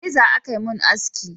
Da reza za a mun haski